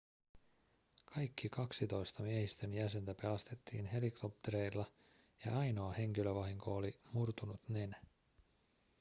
kaikki kaksitoista miehistön jäsentä pelastettiin helikoptereilla ja ainoa henkilövahinko oli murtunut nenä